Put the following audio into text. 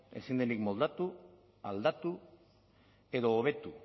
ezin denik moldatu aldatu edo hobetu